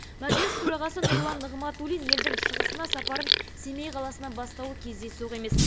мәжіліс төрағасы нұрлан нығматулин елдің шығысына сапарын семей қаласынан бастауы кездейсоқ емес